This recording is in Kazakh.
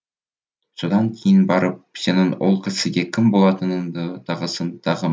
содан кейін барып сенің ол кісіге кім болатыныңды тағысын тағы